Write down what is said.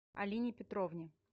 алине петровне